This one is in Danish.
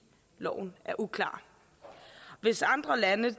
loven er uklar hvis andre lande